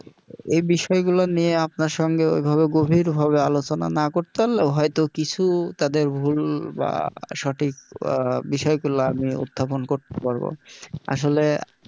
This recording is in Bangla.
এই বিষয়গুলো নিয়ে আপনার সঙ্গে ওইভাবে গভীরভাবে আলোচনা না করতে পারলেও হয়তো কিছু তাদের ভুল বা সঠিক আহ বিষয়গুলো আমি উত্থাপন করতে পারব আসলে,